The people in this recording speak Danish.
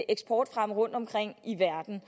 eksportfremme rundtomkring i verden